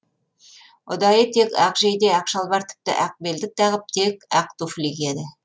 ұдайы тек ақ жейде ақ шалбар тіпті ақ белдік тағып тек ақ туфли киеді